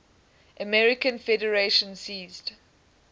american federation ceased